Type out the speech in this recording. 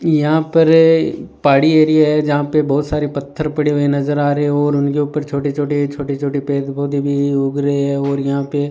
यहां पर पहाड़ी एरिया है जहां पे बहुत सारे पत्थर पड़े हुए नजर आ रहे हो और उनके ऊपर छोटे छोटे छोटे छोटे पेड़ पौधे भी उग रहे है और यहां पे --